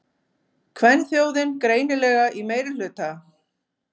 Kvenþjóðin greinilega í meirihluta.